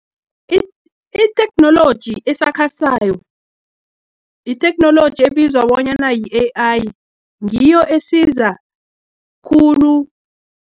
Itheknoloji esakhasayo, yitheknoloji ebizwa bonyana yi-A_I, ngiyo esiza khulu